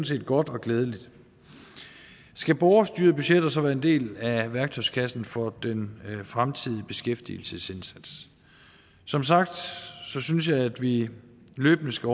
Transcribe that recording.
set godt og glædeligt skal borgerstyrede budgetter så være en del af værktøjskassen for den fremtidige beskæftigelsesindsats som sagt synes jeg at vi løbende skal